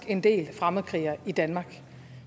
en del fremmedkrigere i danmark